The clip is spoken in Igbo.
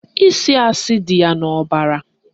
Ịsị asị dị ya n'ọbara